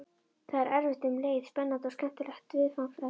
Það er erfitt en um leið spennandi og skemmtilegt viðfangsefni.